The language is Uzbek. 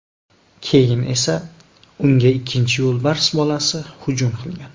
Keyin esa unga ikkinchi yo‘lbars bolasi hujum qilgan.